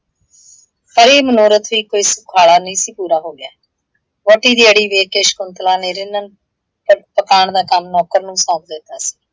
ਪਰ ਇਹ ਮਨੋਰਥ ਵੀ ਕੋਈ ਸੁਖਾਲਾ ਨਹੀਂ ਸੀ ਪੂਰਾ ਹੋ ਗਿਆ। ਵਹੁਟੀ ਦੀ ਅੜੀ ਵੇਖ ਕੇ ਸ਼ਕੁੰਤਲਾ ਨੇ ਰਿੰਨਣ ਤੇ ਪਕਾਣ ਦਾ ਕੰਮ ਨੌਕਰ ਨੂੰ ਸੌਂਪ ਦਿੱਤਾ ਸੀ।